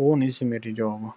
ਉਹ ਨਹੀਂ ਸੀ ਮੇਰੀ job